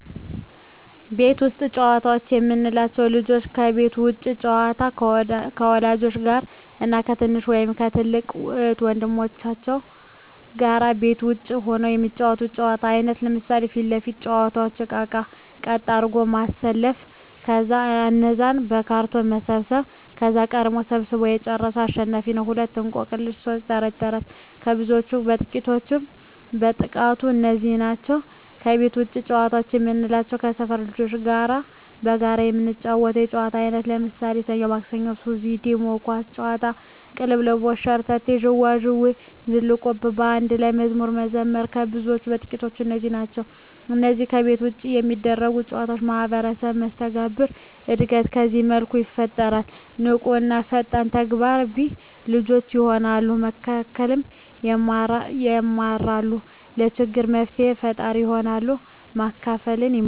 ቤት ውስጥ ጨዋታዎች የምንላቸው፦ ልጆች የቤት ውስጥ ጨዋታ ከወላጆች ጋር እና ከትንሽ ወይም ከትልቅ እህት ወንድሞቻቸው ጋር ቤት ውስጥ ሁነው የሚጫወቱት የጨዋታ አይነት ነው። ለምሣሌ 1. ፊት ለፊት መጫዎቻ እቃቃዎችን ቀጥ አድርጎ ማሠለፍ ከዛ እነዛን በካርቶን መሰብሠብ ከዛ ቀድሞ ሠብስቦ የጨረሠ አሸናፊ ነው፤ 2. እቆቅልሽ 3. ተረት ተረት ከብዙዎች ጨዋታዎች በጥቃቱ እነዚህ ናቸው። ከቤት ውጭ ጨዋታ የምንላቸው ከሠፈር ልጆች ጋር በጋራ የምንጫወተው የጨዋታ አይነት ነው። ለምሣሌ፦ ሠኞ ማክሠኞ፤ ሱዚ፤ ዲሞ፤ ኳስ ጨዋታ፤ ቅልልቦሽ፤ ሸርተቴ፤ ዥዋዥዌ፤ ዝልቁብ፤ በአንድ ላይ መዝሙር መዘመር ከብዙዎቹ በጥቂቱ እነዚህ ናቸው። ከነዚህ ከቤት ውጭ ከሚደረጉ ጨዎች ማህበራዊ መስተጋብር እድገት በዚህ መልኩ ይፈጠራል። ንቁ እና ፈጣን ተግባቢ ልጆች የሆናሉ፤ መከባበር የማራሉ፤ ለችግር መፍትሔ ፈጣሪ ይሆናሉ፤ ማካፈልን ይማራ፤